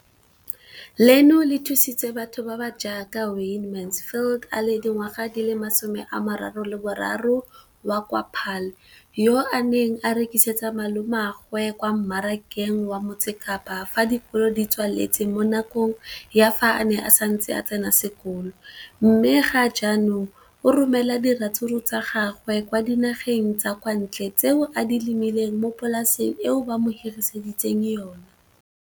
leno le thusitse batho ba ba jaaka Wayne Mansfield, 33, wa kwa Paarl, yo a neng a rekisetsa malomagwe kwa Marakeng wa Motsekapa fa dikolo di tswaletse, mo nakong ya fa a ne a santse a tsena sekolo, mme ga jaanong o romela diratsuru tsa gagwe kwa dinageng tsa kwa ntle tseo a di lemileng mo polaseng eo ba mo hiriseditseng yona.